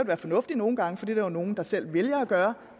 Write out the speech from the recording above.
være fornuftigt nogle gange for det er der nogle der selv vælger